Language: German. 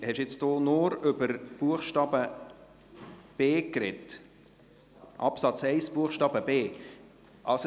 Hat Grossrat Brönnimann jetzt über Absatz 1 Buchstabe b gesprochen?